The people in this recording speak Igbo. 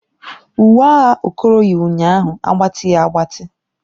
Uwe agha Okoro yi ụnyaahụ agbatighi agbati.